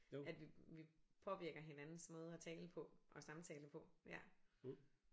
At vi vi påvirker hinandens måder at tale på og samtale på ja